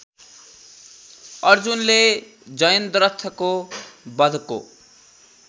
अर्जुनले जयन्द्रथको वधको